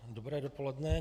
Dobré dopoledne.